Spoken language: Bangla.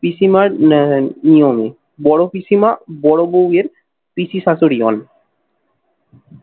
পিসিমার আহ নিয়মে। বড় পিসিমা, বড় বৌ এর পিসি শাশুড়ি হন।